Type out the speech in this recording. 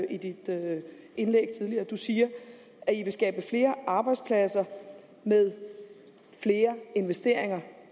i dit indlæg tidligere du siger at i vil skabe flere arbejdspladser med flere investeringer